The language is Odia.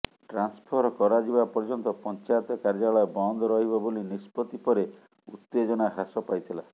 ଟ୍ରାନ୍ସଫର କରାଯିବା ପର୍ଯ୍ୟନ୍ତ ପଞ୍ଚାୟତ କାର୍ଯ୍ୟାଳୟ ବନ୍ଦ ରହିବ ବୋଲି ନିଷ୍ପତ୍ତି ପରେ ଉତ୍ତେଜନା ହ୍ରାସ ପାଇଥିଲା